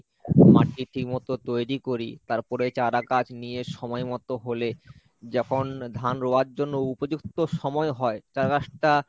মাটি ঠিক মতো তৈরি করি তারপরে চারা গাছ নিয়ে সময়মতো হলে যখন ধান রোয়ার জন্য উপযুক্ত সময় হয় চারাগাছ টা